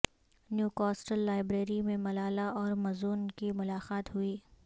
new castle library میں ملالہ اور مزون کی ملاقات ہوئی